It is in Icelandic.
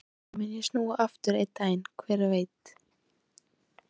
Kannski mun ég snúa aftur einn daginn, hver veit?